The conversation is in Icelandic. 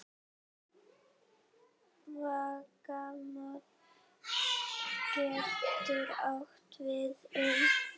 Vegamót getur átt við um